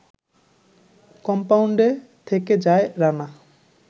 কম্পাউন্ডে থেকে যায় রানা